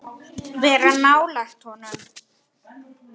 Vera nálægt honum?